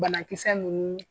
Banakisɛ ninnu